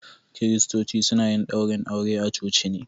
Kiristoci suna yin daurin aure a coci ne.